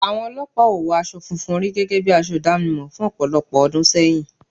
Àwọn olọ́pàá ò wọ aṣọ funfun rí gẹ́gẹ́ bi aṣọ ìdámọ̀ fún ọ̀pọ̀lọpọ̀ ọdún sẹ́yìn